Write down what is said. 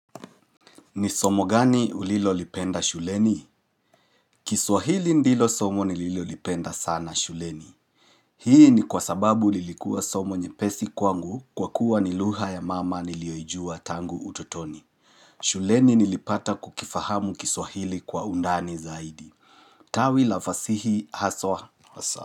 Ni somo gani ulilo lipenda shuleni? Kiswahili ndilo somo nililo lipenda sana shuleni. Hii ni kwa sababu lilikuwa somo nye pesi kwangu kwa kuwa nilugha ya mama niliyoijua tangu utotoni. Shuleni nilipata kukifahamu kiswahili kwa undani zaidi. Tawi la fasihi haswa hasa.